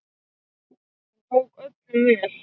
Hún tók öllum vel.